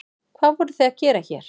Hvað voruð þið að gera hér?